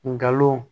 Ngalon